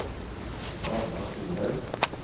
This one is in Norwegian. Ragna Solhaug